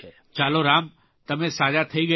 ચાલો રામ તમે સાજા થઇ ગયા